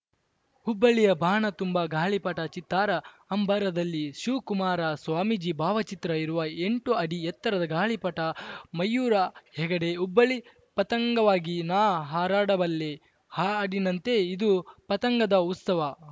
ಹುಬ್ಬಳ್ಳಿಯ ಬಾನ ತುಂಬಾ ಗಾಳಿಪಟ ಚಿತ್ತಾರ ಅಂಬರದಲ್ಲಿ ಶಿವಕುಮಾರ ಸ್ವಾಮೀಜಿ ಭಾವಚಿತ್ರ ಇರುವ ಎಂಟು ಅಡಿ ಎತ್ತರದ ಗಾಳಿಪಟ ಮಯೂರ ಹೆಗಡೆ ಹುಬ್ಬಳ್ಳಿ ಪತಂಗವಾಗಿ ನಾ ಹಾರಾಡಬಲ್ಲೆ ಹಾ ಹಾಡಿನಂತೆ ಇದು ಪತಂಗದ ಉತ್ಸವ